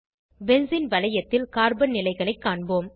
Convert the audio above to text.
benzene வளையத்தில் carbon நிலைகளை காண்போம்